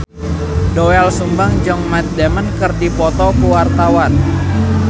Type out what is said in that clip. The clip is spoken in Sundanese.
Doel Sumbang jeung Matt Damon keur dipoto ku wartawan